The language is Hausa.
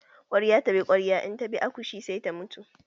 Kwarya ta bi kwarya, in ta bi akoshi sai ta mutu.